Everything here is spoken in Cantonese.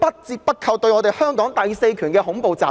這些均是對香港第四權的恐怖襲擊。